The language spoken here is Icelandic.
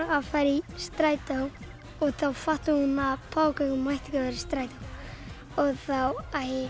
að fara í strætó og þá fattaði hún að páfagaukurinn mætti ekki fara í strætó þá